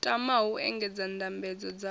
tamaho u engedza ndambedzo dzavho